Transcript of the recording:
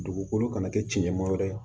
Dugukolo kana kɛ cɛncɛnma wɛrɛ ye